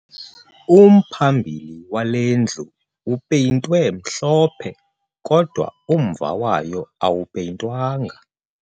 Umphambili wale ndlu upeyintwe mhlophe kodwa umva wayo awupeyintwanga